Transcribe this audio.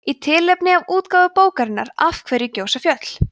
í tilefni af útgáfu bókarinnar af hverju gjósa fjöll